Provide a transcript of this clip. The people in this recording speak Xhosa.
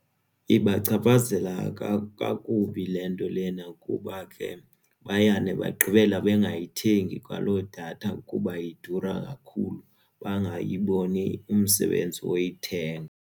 Ibachaphazela kakubi le nto lena kuba ke bayane bagqibela bangayithengi kwaloo datha kuba idura kakhulu bangayiboni umsebenzi woyithenga.